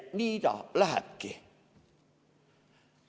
Nii ta lähebki.